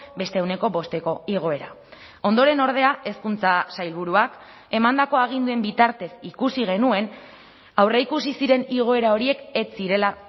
beste ehuneko bosteko igoera ondoren ordea hezkuntza sailburuak emandako aginduen bitartez ikusi genuen aurreikusi ziren igoera horiek ez zirela